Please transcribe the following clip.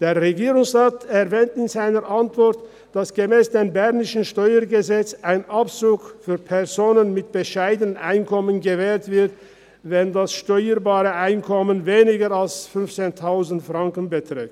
Der Regierungsrat erwähnt in seiner Antwort, dass gemäss dem bernischen Steuergesetz (StG) ein Abzug für Personen mit bescheidenem Einkommen gewährt wird, wenn das steuerbare Einkommen weniger als 15 000 Franken beträgt.